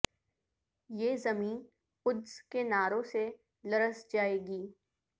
یہ زمیں قدس کے نعروں سے لرز جائے گی